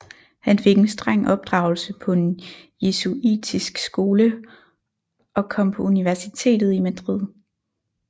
Han fik en streng opdragelse på en jesuitisk skole og kom på universitetet i Madrid